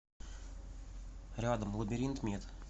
рядом лабиринтмед